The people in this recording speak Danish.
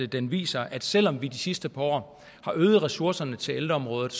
den viser at selv om vi de sidste par år har øget ressourcerne til ældreområdet